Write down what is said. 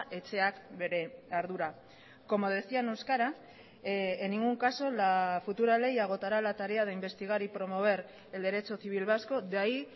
etxeak bere ardura como decía en euskara en ningún caso la futura ley agotará la tarea de investigar y promover el derecho civil vasco de ahí